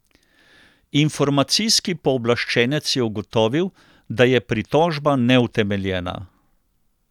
Informacijski pooblaščenec je ugotovil, da je pritožba neutemeljena.